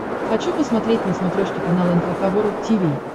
хочу посмотреть на смотрешке канал эн эйч кей волд ти ви